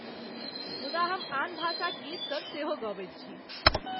मुदा हम आन भाषाक गीतसभ सेहो गबैत छी।